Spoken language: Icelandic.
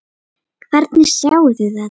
Hvernig sjáið þið þetta?